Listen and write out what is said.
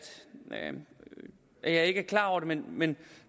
man ikke er klar over det men